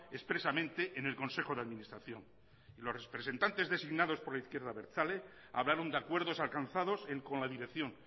expresamente en el consejo de administración los representantes designados por la izquierda abertzale hablaron de acuerdos alcanzados con la dirección